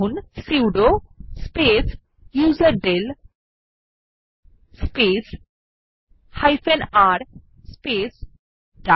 এখানে লিখুন sudo space userdel space r space ডাক